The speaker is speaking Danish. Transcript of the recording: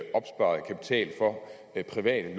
det private